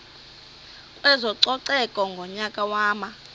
kwezococeko ngonyaka wama